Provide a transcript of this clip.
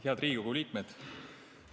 Head Riigikogu liikmed!